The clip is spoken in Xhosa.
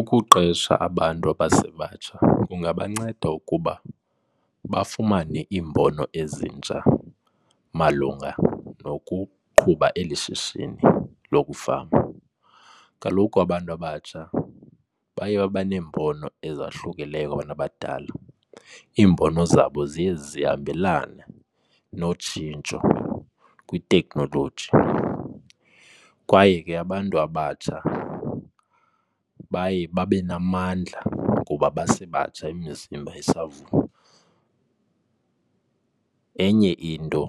Ukuqesha abantu abasebatsha kungabanceda ukuba bafumane iimbono ezintsha malunga nokuqhuba eli shishini lokufama. Kaloku abantu abatsha baye babe neembono ezahlukileyo kwabantu abadala. Iimbono zabo ziye zihambelane notshintsho kwiteknoloji kwaye ke abantu abatsha baye babe namandla ngoba basebatsha, imizimba isavuma. Enye into